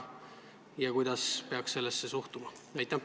Ja kuidas üldse peaks sellesse suhtuma?